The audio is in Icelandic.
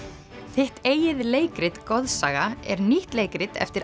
þitt eigið leikrit goðsaga er nýtt leikrit eftir